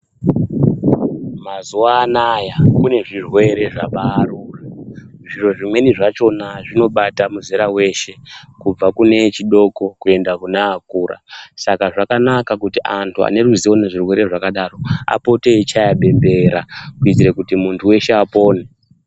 Mazuva anaya kune zvirwere zvabaaruka. Izvo zvimweni zvachona zvinobata muzera weshe kubva kune echidoko kuenda kune akura .Saka zvakanaka kuti antu ane ruzivo nezvirwere zvakadaro apote aichaya bembera kuita kuti muntu weshe apone